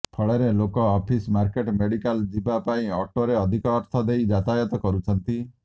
ଫଳରେ ଲୋକେ office market medical ଯିବା ପାଇଁ ଅଟୋରେ ଅଧିକ ଅର୍ଥ ଦେଇ ଯାତାୟାତ କରୁଛନ୍ତି